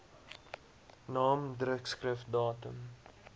naam drukskrif datum